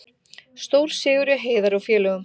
Stórsigur hjá Heiðari og félögum